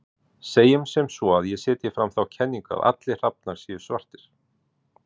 Segjum sem svo að ég setji fram þá kenningu að allir hrafnar séu svartir.